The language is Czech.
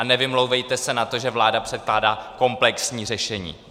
A nevymlouvejte se na to, že vláda předkládá komplexní řešení.